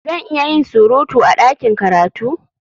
Zan iya yin surutu a ɗakin karatu?